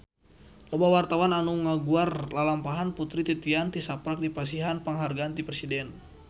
Loba wartawan anu ngaguar lalampahan Putri Titian tisaprak dipasihan panghargaan ti Presiden